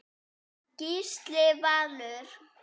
Gísli Valur.